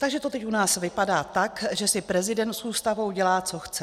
Takže to teď u nás vypadá tak, že si prezident s Ústavou dělá, co chce.